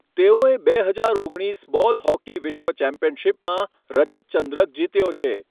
તેઓએ બે હજાર ઓગણીસ બોલ હોકી વિશ્વ ચેમ્પિયનશિપમાં રજત ચંદ્રક જીત્યો છે.